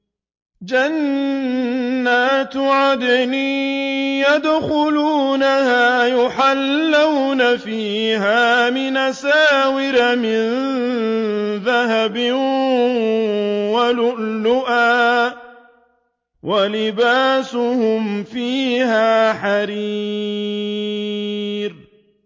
جَنَّاتُ عَدْنٍ يَدْخُلُونَهَا يُحَلَّوْنَ فِيهَا مِنْ أَسَاوِرَ مِن ذَهَبٍ وَلُؤْلُؤًا ۖ وَلِبَاسُهُمْ فِيهَا حَرِيرٌ